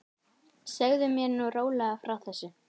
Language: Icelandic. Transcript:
Segðu mér nú rólega frá þessu.